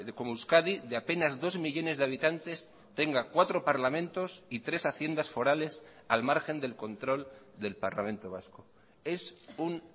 como euskadi de apenas dos millónes de habitantes tenga cuatro parlamentos y tres haciendas forales al margen del control del parlamento vasco es un